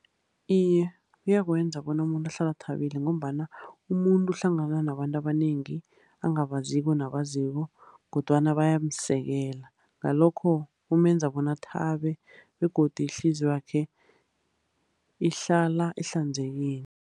Iye, kuyakwenza bona umuntu ahlale athabile, ngombana umuntu uhlangana nabantu abanengi angabaziko nabaziko, kodwana bayawusekela. Ngalokho kumenza bona athabe, begodu ihliziyo yakhe ihlala ihlanzekile.